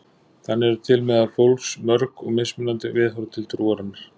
Þannig eru til meðal fólks mörg og mismunandi viðhorf til trúarinnar.